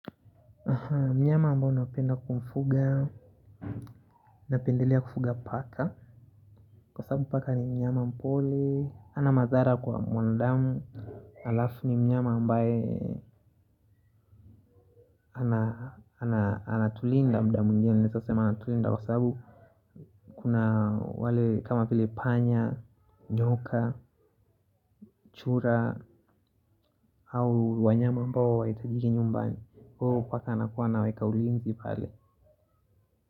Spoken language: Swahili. Mnyama ambao naupenda kumfuga napendelea kufuga paka. Kwa sababu paka ni mnyama mpole hana madhara kwa mwandamu. Alafu ni mnyama ambaye ana tulinda muda mwingine naeza sema anatulinda. Kwa sababu kuna wale kama vile panya Nyoka Chura Au wanyama mbao waitajiki nyumbani. Kwahuo paka anakuwa anaweka ulinzi pale.